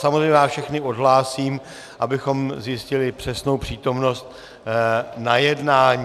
Samozřejmě vás všechny odhlásím, abychom zjistili přesnou přítomnost na jednání.